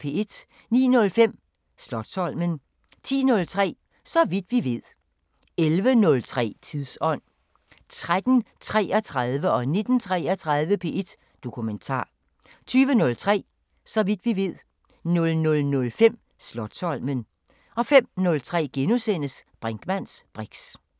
09:05: Slotsholmen 10:03: Så vidt vi ved 11:03: Tidsånd 13:33: P1 Dokumentar 19:33: P1 Dokumentar 20:03: Så vidt vi ved 00:05: Slotsholmen 05:03: Brinkmanns briks *